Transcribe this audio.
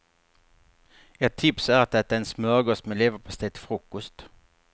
Ett tips är att äta en smörgås med leverpastej till frukost.